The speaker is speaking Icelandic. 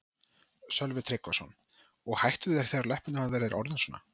Sölvi Tryggvason: Og hættu þeir þegar að löppin á þér er orðin svona?